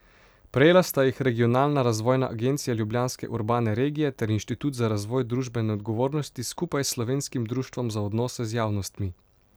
Prejela sta jih Regionalna razvojna agencija Ljubljanske urbane regije ter Inštitut za razvoj družbene odgovornosti skupaj s Slovenskim društvom za odnose z javnostmi.